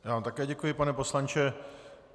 Já vám také děkuji, pane poslanče.